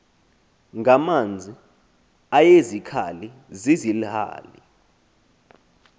ngamanzi eyezikhali zizilhali